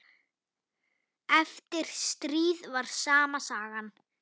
Eftir stríð var sama sagan.